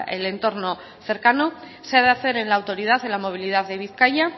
el entorno cercano se ha de hacer en la autoridad en la movilidad de bizkaia